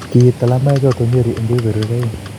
kiit talamoichoto Nyeri eng kebeberwek aeng